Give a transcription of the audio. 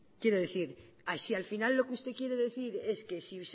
quiero decir si al final lo que usted quiere decir es que si